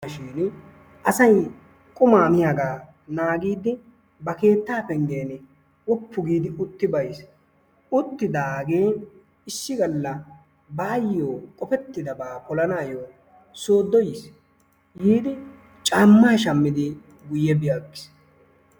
Asay qummaa miyaagaa naagiid ba keetta pengen quppu giidi utti aggiis. Uttidaagee issi gala baayoo qofettidabaa polanaayoo soodo yiis. Yiidi cammaa shamidi guye bi aggiis.